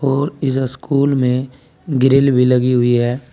और इस स्कूल में ग्रिल भी लगी हुई है।